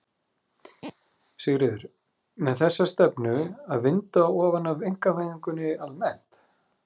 Sigríður: Með þessa stefnu að vinda ofan af einkavæðingunni almennt?